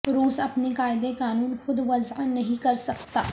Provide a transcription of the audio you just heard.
روس اپنے قاعدے قانون خود وضع نہیں کر سکتا